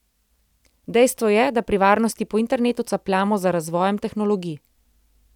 Dejstvo je, da pri varnosti po internetu capljamo za razvojem tehnologij.